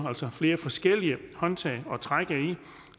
flere forskellige håndtag at trække i